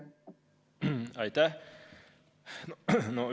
Aitäh!